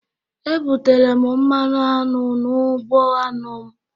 E butere m mmanụ aṅụ n'ugbo aṅụ m